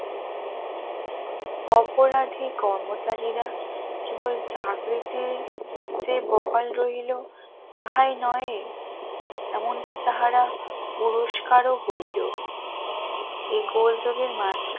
অপরাধী কর্মচারীরা কেবল চাকরিতে যে বহাল রইল তাহাই নয় এমনকি তাহারা পুরস্কারও হইল এগোর যুগের